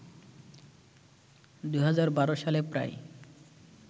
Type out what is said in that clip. ২০১২ সালে প্রায়